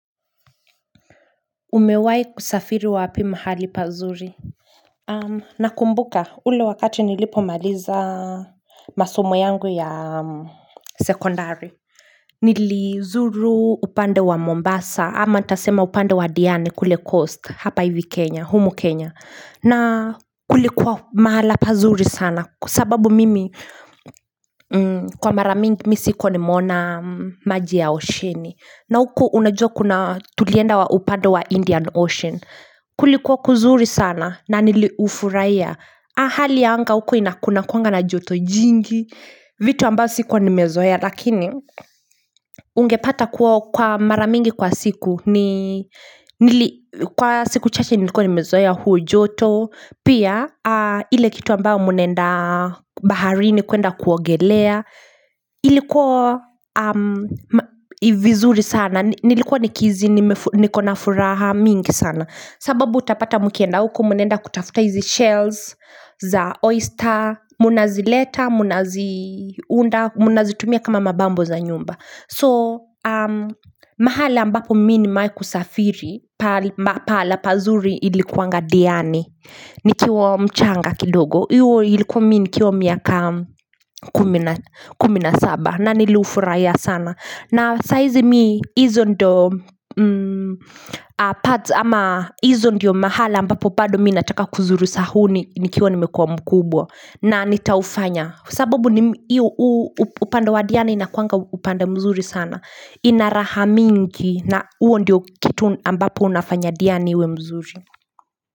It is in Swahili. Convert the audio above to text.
Umewai kusafiri wapi mahali pazuri? Nakumbuka ule wakati nilipomaliza masomo yangu ya sekondari. Nilizuru upande wa Mombasa ama ntasema upande wa Diani kule coast hapa hivi Kenya, humo Kenya. Na kulikuwa mahala pazuri sana kwa. Sababu mimi kwa mara mingi mi sikuwa nimeona maji ya oceani. Na huko unajua kuna tulienda wa upande wa Indian Ocean Kulikuwa kuzuri sana na niliufuraiya hali ya anga huko ina kunakuanga na joto jingi vitu ambao sikuwa nimezoea Lakini ungepata kwa mara mingi kwa siku Kwa siku chache nilikuwa nimezoea huo joto Pia ile kitu ambao munaenda baharini kuenda kuogelea Ilikuwa vizuri sana Nilikuwa nikizi niko na furaha mingi sana sababu utapata mkienda huko munaenda kutafuta hizi shells za oyster Munazileta Munazi unda Munazitumia kama mabambo za nyumba So mahala ambapo mi nimeai kusafiri Pala pazuri ilikuanga diani nikiwa mchanga kidogo Iwo ilikuwa mii nikiwa miaka kumi na saba na niliufuraiya sana na saizi mii hizo ndio Pads ama hizo ndio mahala ambapo pado mi nataka kuzuru sa huu ni nikiwa nimekua mkubwa na nitaufanya sababu ni iyo upande wa diani inakuanga upande mzuri sana ina raha mingi na uo ndio kitu ambapo unafanya diani uwe mzuri.